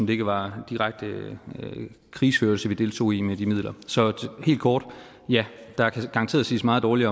det ikke var direkte krigsførelse vi deltog i med de midler så helt kort ja der kan garanteret siges meget dårligt